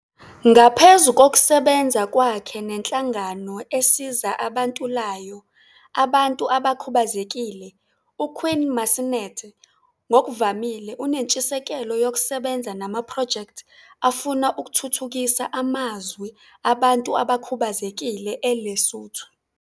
Ngaphezu kokusebenza kwakhe nenhlangano esiza abantulayo Abantu Abakhubazekile, uQueen 'Masenate ngokuvamile unentshisekelo yokusebenza namaphrojekthi afuna ukuthuthukisa amazwi abantu abakhubazekile eLesotho.